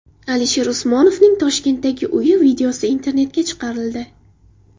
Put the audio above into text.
Alisher Usmonovning Toshkentdagi uyi videosi internetga chiqarildi.